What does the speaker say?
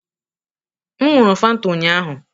M ṅụụrụ Fanta ụnyahụ.